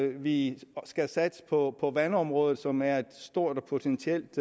vi skal satse på vandområdet som er et stort og potentielt